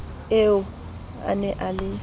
eo a ne a le